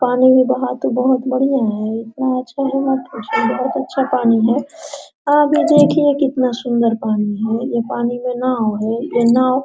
पानी में बहाव तो बहुत बढ़िया है इतना अच्छा है मत पूछो बहुत अच्छा पानी है आगे देखिए कितनी सुंदर पानी है ये पानी में नाव है ये नाव --